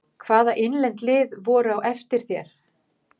Hvaða innlend lið voru á eftir þér?